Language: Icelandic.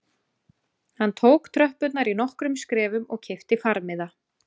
Hann tók tröppurnar í nokkrum skrefum og keypti farmiða